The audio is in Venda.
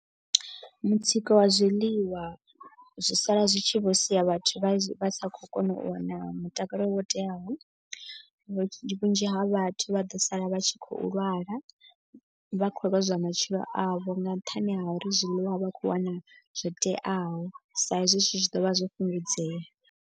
Mutsiko wa zwiḽiwa zwi sala zwi tshi vho sia vhathu vha vha sa khou kona u wana mutakalo wo teaho. Vhunzhi ha vhathu vha ḓo sala vha tshi khou lwala. Vha khou lozwa matshilo avho nga nṱhani ha uri zwiḽiwa a vha khou wana zwo teaho. Sa hezwi zwithu zwi tshi ḓo vha zwo fhungudzea.